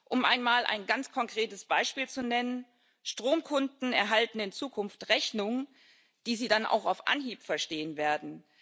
Um einmal ein ganz konkretes Beispiel zu nennen Stromkunden erhalten in Zukunft Rechnungen, die sie dann auch auf Anhieb verstehen werden.